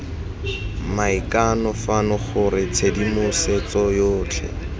maikano fano gore tshedimosetso yotlhe